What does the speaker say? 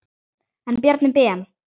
En Bjarni Ben.